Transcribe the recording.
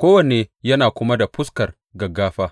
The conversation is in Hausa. kowanne yana kuma da fuskar gaggafa.